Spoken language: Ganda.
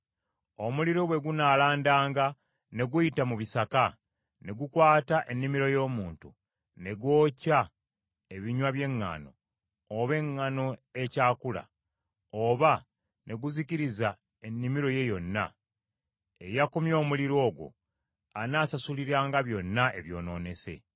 “Omuliro bwe gunaalandanga ne guyita mu bisaka ne gukwata ennimiro y’omuntu, ne gwokya ebinywa by’eŋŋaano, oba eŋŋaano ekyakula, oba ne guzikiriza ennimiro ye yonna; eyakumye omuliro ogwo anaasasuliranga byonna ebyonoonese.